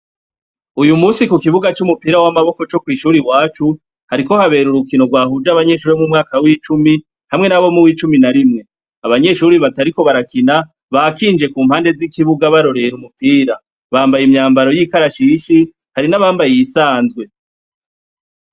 Uyu musi ku kibuga c'umupira w'amaboko co kw'ishuri iwacu hariko habera urukino rwahuje abanyeshuri bo mu mwaka w'icumi hamwe n'abo mu w'icumi na rimwe, abanyeshuri batariko barakina bakinje ku mpande z'ikibuga barorera umupira bambaye imyambaro y'ikarashishi hari n'abambaye iyisanzwe.